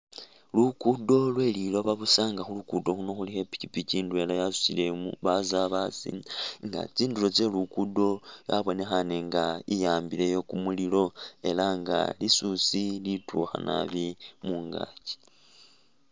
Lukudo lweli looba busa nga khulukudo khuno khulikho i'pikipiki indwela yasutile umu.. basaabasi nga tsindulo tselukudo yabonekhane nga iwabileyo kumulilo ela nga lisusi litukha naabi mungaki